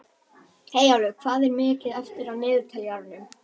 Eyjólfur, hvað er mikið eftir af niðurteljaranum?